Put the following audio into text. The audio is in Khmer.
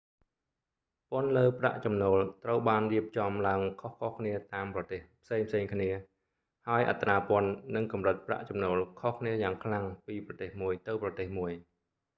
ពន្ធលើប្រាក់ចំណូល ត្រូវបានរៀបចំឡើងខុសៗគ្នាតាមប្រទេសផ្សេងៗគ្នា ហើយអត្រាពន្ធ និងកម្រិតប្រាក់ចំណូលខុសគ្នាយ៉ាងខ្លាំងពីប្រទេសមួយទៅប្រទេសមួយ